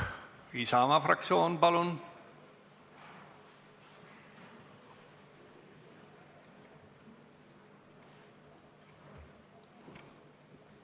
Aivar Kokk Isamaa fraktsiooni nimel, palun!